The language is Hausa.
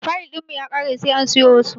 Fayil ɗin mu ya kare sai an siyo wasu.